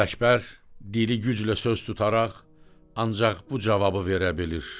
Ələkbər, dili güclə söz tutaraq ancaq bu cavabı verə bilir: